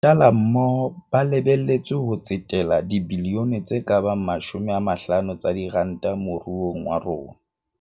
Mashala mmoho ba lebe letswe ho tsetela dibilione tse ka bang 50 tsa diranta mo ruong wa rona.